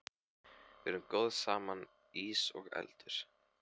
Við erum góð saman, ís og eldur.